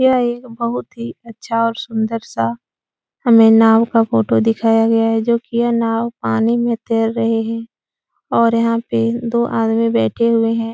यह एक बहुत ही अच्छा और सुन्दर सा हमें नाव का फ़ोटो दिखाया गया है जो कि यह नाव पानी में तैर रही है और यहाँ पे दो आदमी बैठे हुए हैं।